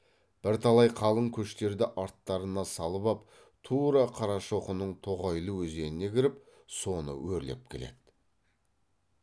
бірталай қалың көштерді арттарына салып ап тура қарашоқының тоғайлы өзеніне кіріп соны өрлеп келеді